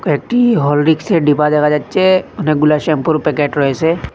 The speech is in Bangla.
একটি হরলিক্সের ডিবা দেখা যাচ্ছে অনেকগুলা শ্যাম্পুরও প্যাকেট রয়েসে ।